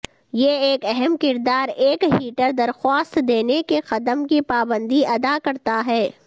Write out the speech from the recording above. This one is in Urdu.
یہ ایک اہم کردار ایک ہیٹر درخواست دینے کے قدم کی پابندی ادا کرتا ہے